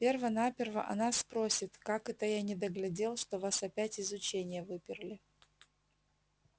перво-наперво она спросит как это я недоглядел что вас опять из ученья выперли